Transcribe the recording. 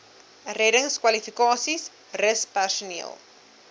reddingskwalifikasies rus personeel